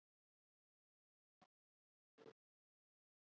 Eru það hagsmunir sjóðfélaga að hafa enga lýðræðislega aðkomu að stjórnum sjóðanna?